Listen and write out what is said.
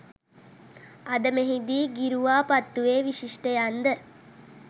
අද මෙහිදී ගිරුවාපත්තුවේ විශිෂ්ටයන්ද